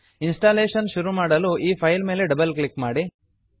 installation ಶುರು ಮಾಡಲು ಈ ಫೈಲ್ ಮೇಲೆ ಡಬಲ್ ಕ್ಲಿಕ್ ಮಾಡಿ